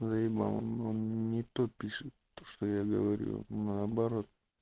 заебал он не то пишет то что я говорю наоборот